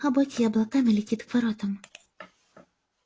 хоботье облаками летит к воротам